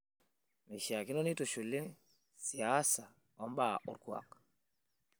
Meishakino nitushuli siasa o mbaa olkuak